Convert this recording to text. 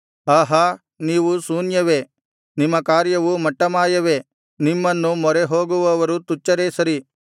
ಆಹಾ ನೀವು ಶೂನ್ಯವೇ ನಿಮ್ಮ ಕಾರ್ಯವು ಮಟ್ಟಮಾಯವೇ ನಿಮ್ಮನ್ನು ಮೊರೆಹೋಗುವವರು ತುಚ್ಛರೇ ಸರಿ